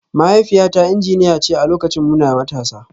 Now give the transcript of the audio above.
Mahaifiyata injiniya ce a lokacin muna matasa